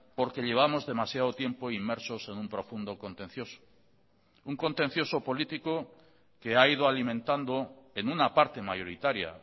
porque llevamos demasiado tiempo inmersos en un profundo contencioso un contencioso político que ha ido alimentando en una parte mayoritaria